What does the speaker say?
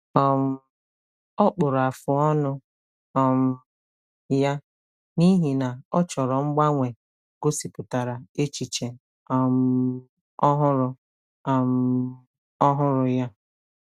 um Ọ kpụrụ afụ ọnụ um ya n'ihi na ọ chọrọ mgbanwe gosipụtara echiche um ọhụrụ um ọhụrụ ya.